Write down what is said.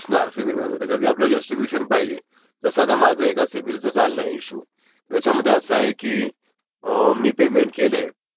असं आहे, ते म्हणाले नाही रिसिव्ह झालंय. मी झोनल ऑफीसरला मेल टाकला एसबीयआयच्या असं असं आहे, मी मेल तुम्हाला केलंय अम्म..पेमेंट